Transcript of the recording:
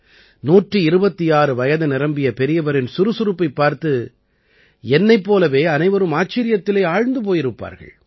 126 வயது நிரம்பிய பெரியவரின் சுறுசுறுப்பைப் பார்த்து என்னைப் போலவே அனைவரும் ஆச்சரியத்திலே ஆழ்ந்து போயிருப்பார்கள்